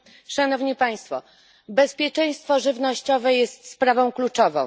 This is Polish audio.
Szanowni Państwo! Bezpieczeństwo żywnościowe jest sprawą kluczową.